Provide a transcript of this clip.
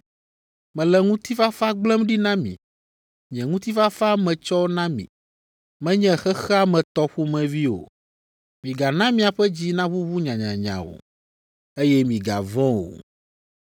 Mele ŋutifafa gblẽm ɖi na mi. Nye ŋutifafa metsɔ na mi. Menye xexea me tɔ ƒomevi o. Migana miaƒe dzi naʋuʋu nyanyanya o, eye migavɔ̃ o.